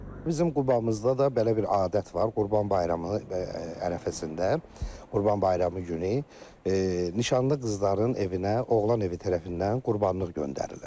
Bizim Qubamızda da belə bir adət var, Qurban bayramı ərəfəsində, Qurban bayramı günü nişanlı qızların evinə oğlan evi tərəfindən qurbanlıq göndərirlər.